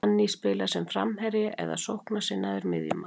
Fanny spilar sem framherji eða sóknarsinnaður miðjumaður.